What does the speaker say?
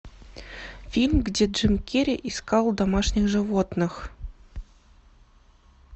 фильм где джим керри искал домашних животных